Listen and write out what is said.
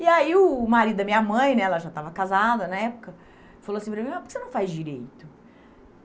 E aí o marido da minha mãe né, ela já estava casada na época, falou assim para mim, ó por que você não faz Direito?